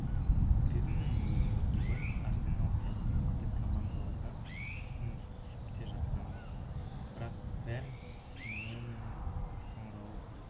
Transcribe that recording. гризманның өзіне ювентус арсенал сияқты мықты командалардан ұсыныс түсіп те жатқан-ды бірақ бәрін симеоненің қоңырауы бұзды